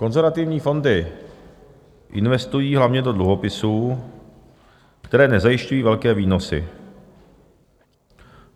Konzervativní fondy investují hlavně do dluhopisů, které nezajišťují velké výnosy.